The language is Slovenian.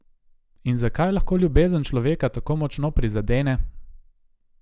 In zakaj lahko ljubezen človeka tako močno prizadene?